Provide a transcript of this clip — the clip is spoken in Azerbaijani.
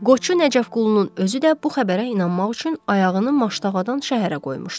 Qoçu Nəcəfqulunun özü də bu xəbərə inanmaq üçün ayağını Maştağadan şəhərə qoymuşdu.